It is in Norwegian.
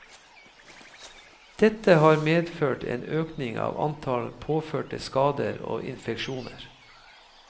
Dette har medført en økning av antall påførte skader og infeksjoner.